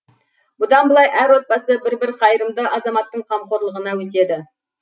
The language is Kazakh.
бұдан былай әр отбасы бір бір қайырымды азаматтың қамқорлығына өтеді